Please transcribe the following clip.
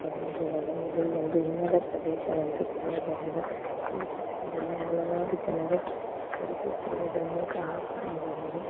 ಆ ಮಂಜಿದಾಗ ಇದು ಒಂದು ಹಿಮದ ಪ್ರದೇಶವೆಂದು ತಿಳಿಯಬಹುದು ಈ ಚಿತ್ರದಲ್ಲಿ ಹಲವಾರು ಚಲಿಸುತ್ತಿರುವುದನ್ನು ಕಾಣಬಹುದು.